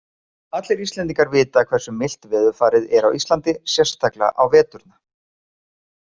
Allir Íslendingar vita hversu milt veðurfarið er á Íslandi, sérstaklega á veturna.